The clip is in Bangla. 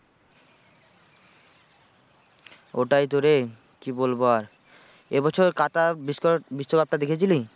ওটাই তো রে কি বলবো আর এ বছর কাতা বিশ্ব, বিশ্বকাপটা দেখেছিলি?